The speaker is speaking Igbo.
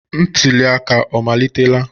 Ntuli aka ọ amalitela?